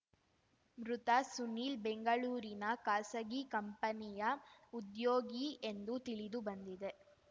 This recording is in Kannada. ಮೃತ ಸುನೀಲ್‌ ಬೆಂಗಳೂರಿನ ಖಾಸಗಿ ಕಂಪೆನಿಯ ಉದ್ಯೋಗಿ ಎಂದು ತಿಳಿದು ಬಂದಿದೆ